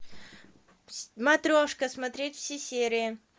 матрешка смотреть все серии